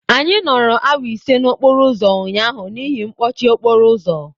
Anyị nọrọ awa ise n'okporo ụzọ ụnyaahụ n'ihi mkpọchi okporo ụzọ.